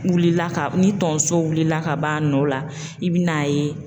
Wulila ka ni tonso wulila ka b'a nɔ la i bi n'a ye.